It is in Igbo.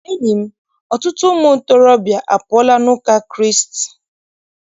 Enyi m, ọtụtụ ụmụ ntorobịa apụọla n'ụka Kraịst.